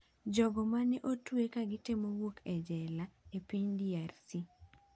Jogo ma ne otwe ka gitemo wuok e jela e piny DRC